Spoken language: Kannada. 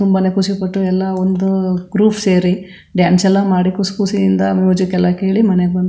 ತುಂಬಾನೆ ಖುಷಿ ಪಟ್ಟು ಎಲ್ಲಾ ಒಂದು ಗ್ರೂಪ್ ಸೇರಿ ಡ್ಯಾನ್ಸ್ ಎಲ್ಲಾ ಮಾಡಿ ಖುಷ್ ಖುಷಿಯಿಂದ ಮ್ಯೂಜಿಕ್ ಎಲ್ಲಾ ಕೇಳಿ ಮನೆಗ್ ಬಂದು.